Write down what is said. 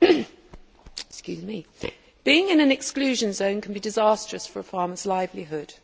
Being in an exclusion zone can be disastrous for a farmer's livelihood.